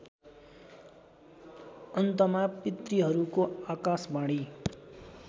अन्तमा पितृहरूको आकाशवाणी